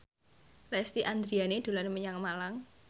Lesti Andryani dolan menyang Malang